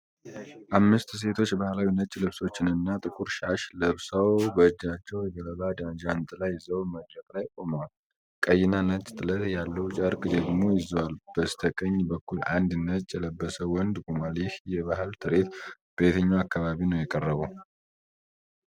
አምስትሴቶች ባህላዊ ነጭ ልብሶችንና ጥቁር ሻሽ ለብሰው በእጃቸው የገለባ ጃንጥላ ይዘው መድረክ ላይ ቆመዋል። ቀይና ነጭ ጥለት ያለው ጨርቅ ደግሞ ይዘዋል። በስተቀኝ በኩል አንድ ነጭ የለበሰ ወንድ ቆሟል። ይህ የባህል ትርኢት በየትኛው አካባቢ ነው የቀረበው?